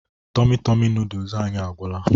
Tomi Tomi noodolus anyị agwụla